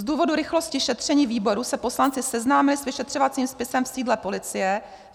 Z důvodu rychlosti šetření výboru se poslanci seznámili s vyšetřovacím spisem v sídle policie.